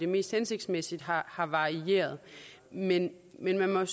mest hensigtsmæssige har har varieret men men man